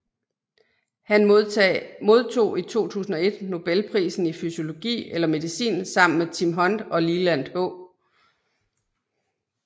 Han modtog i 2001 Nobelprisen i fysiologi eller medicin sammen med Tim Hunt og Leland H